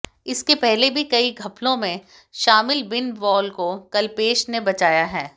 इसके पहले भी कई घपलों में शामिल बिनवाल को कल्पेश ने बचाया है